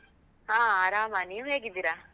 ಹಾ ಆರಾಮ, ನೀವು ಹೇಗಿದ್ದೀರ?